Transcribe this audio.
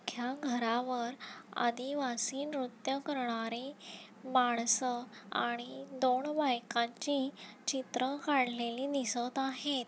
या घरावर आदिवासी नृत्य करणारे माणस आणि दोण बायकांची चित्र काढलेली दिसत आहेत.